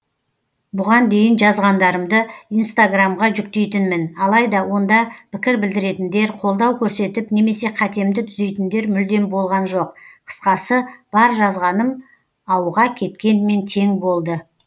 бұған дейін жазғандарымды инстаграмға жүктейтінмін алайда онда пікір білдіретіндер қолдау көрсетіп немесе қатемді түзейтіндер мүлдем болған жоқ қысқасы бар жазғаным ауға кеткенмен тең болды